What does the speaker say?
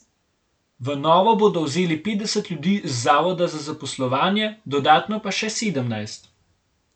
V Novo bodo vzeli petdeset ljudi z zavoda za zaposlovanje, dodatno pa še sedemnajst.